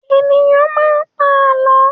Ènìyàn máa ń pa àlọ́.